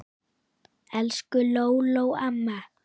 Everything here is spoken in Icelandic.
Elsku Lóló amma.